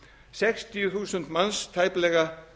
sextíu þúsund manns tæplega